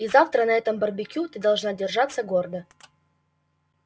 и завтра на этом барбекю ты должна держаться гордо